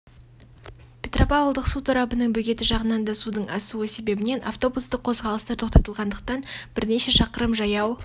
петропавлдық су торабының бөгеті жағынан да судың асуы себебінен автобустық қозғалыстар тоқтатылғандықтан бірнеше шақырым жаяу